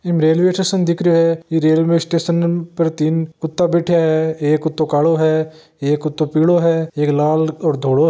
इमें railway station दिख रहियो हैं ई रेलवे स्टेशन पर तीन कुता बैठया हैं एक कुतो कालाे हैं एक कुतो पीलो हैं एक लाल और धोलो --